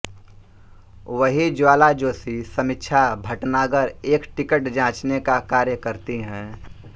वहीं ज्वाला जोशी समीक्षा भटनागर एक टिकट जाँचने का कार्य करती हैं